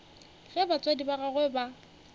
ge batswadi ba gagwe ba